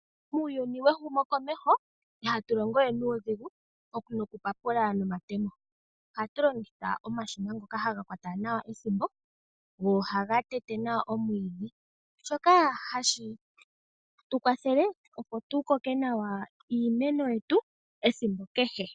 Muuyuni wehumokomeho ihatu longowe nuudhigu noku papula nomatemo. Ohatu longitha omashina ngoka haga kwata ethimbo, go ohaga tete nawa omwiidhi, shoka hashi tu kwathele opo tu ko keke nawa iimeno yetu esiku kehe.